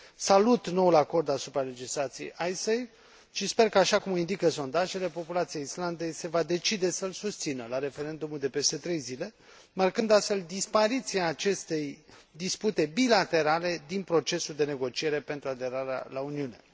Salut noul acord asupra legislației Icesave și sper că, așa cum o indică sondajele, populația Islandei se va decide să îl susțină la referendumul de peste trei zile, marcând astfel dispariția acestei dispute bilaterale din procesul de negociere pentru aderarea la Uniune.